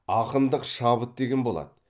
ақындық шабыт деген болады